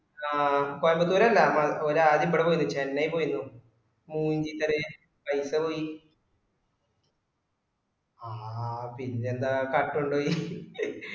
ആ കോയമ്പത്തൂര് അല്ല മല ഓല് ആദ്യം ഇബടെ പോയീനും ചെന്നൈ പോയീനും മൂഞ്ചി കളി പൈസ പോയി ആ പിന്നെന്താ കട്ടൊണ്ടോയി